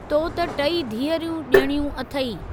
तो त टेई धीअरूं ॼणियूं अथई।